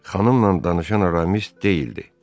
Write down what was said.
Xanımla danışan Aramis deyildi.